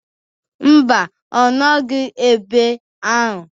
Mba, ọ nọghị ebe ahụ.